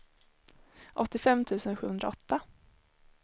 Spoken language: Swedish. åttiofem tusen sjuhundraåtta